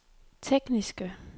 tekniske